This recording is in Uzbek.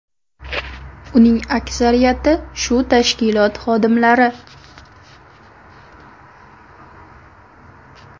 Uning aksariyati shu tashkilot xodimlari.